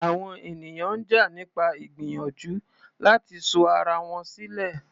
Àwọn ènìyàn ń jà nípa ìgbìyànjú láti sọ ara wọn sílẹ̀.